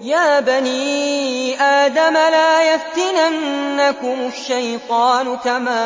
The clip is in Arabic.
يَا بَنِي آدَمَ لَا يَفْتِنَنَّكُمُ الشَّيْطَانُ كَمَا